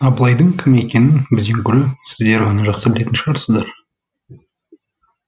абылайдың кім екенін бізден гөрі сіздер жақсы білетін шығарсыздар